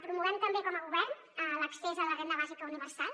promovem també com a govern l’accés a la renda bàsica universal